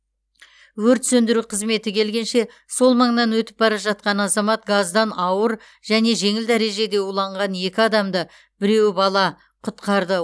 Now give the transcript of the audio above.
өрт сөндіру қызметі келгенше сол маңнан өтіп бара жатқан азамат газдан ауыр және жеңіл дәрежеде уланған екі адамды біреуі бала құтқарды